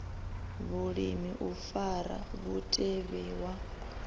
vhulimi u fara mutevhe wa